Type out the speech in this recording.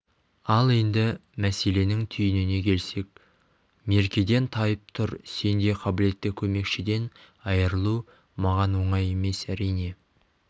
ал енді мәселенің түйініне келсек меркеден тайып тұр сендей қабілетті көмекшіден айырылу маған оңай емес әрине